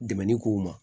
Dɛmɛni k'u ma